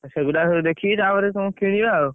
ସେଇଗୁଡା ସବୁ ଦେଖିକି ତାପରେ କଣ କିଣିବା ଆଉ।